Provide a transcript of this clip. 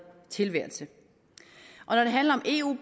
tilværelse når det handler om eu